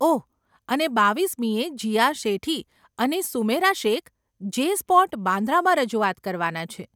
ઓહ, અને બાવીસમીએ, જીયા શેઠી અને સુમૈરા શેખ જે સ્પોટ, બાન્દ્રામાં રજૂઆત કરવાના છે.